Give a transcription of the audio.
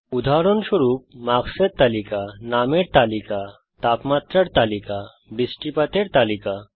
উদাহরণস্বরূপ মার্ক্সের তালিকা নামের তালিকা তাপমাত্রার তালিকা বৃষ্টিপাতের তালিকা